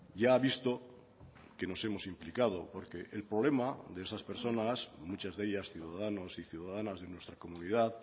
ya ha visto que nos hemos implicado porque el problema de esas personas muchas de ellas ciudadanos y ciudadanas de nuestra comunidad